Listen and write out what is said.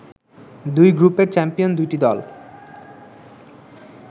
দুই গ্রুপের চ্যাম্পিয়ন দুটি দল